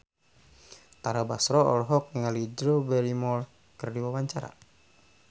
Tara Basro olohok ningali Drew Barrymore keur diwawancara